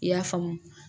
I y'a faamu